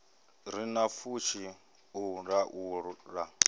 re na pfushi u laula